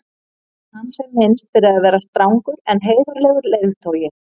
hans er minnst fyrir að vera strangur en heiðarlegur leiðtogi